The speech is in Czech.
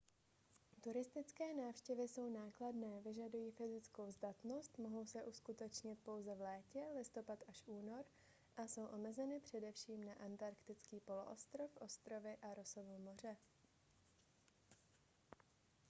turistické návštěvy jsou nákladné vyžadují fyzickou zdatnost mohou se uskutečnit pouze v létě listopad - únor a jsou omezeny především na antarktický poloostrov ostrovy a rossovo moře